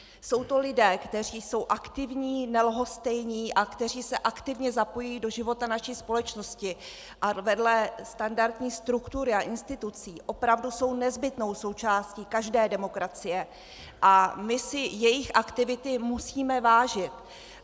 Jsou to lidé, kteří jsou aktivní, nelhostejní a kteří se aktivně zapojují do života naší společnosti a vedle standardní struktury a institucí opravdu jsou nezbytnou součástí každé demokracie a my si jejich aktivity musíme vážit.